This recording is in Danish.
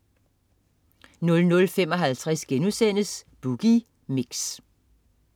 00.55 Boogie Mix*